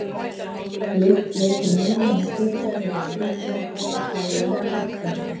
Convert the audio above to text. lykt leikur mun minna hlutverk við að skilgreina og þekkja fæðu en bragðskyn